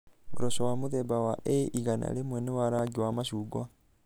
Ngoroco wa mũthemba wa A100 nĩ wa rangi wa macungwa.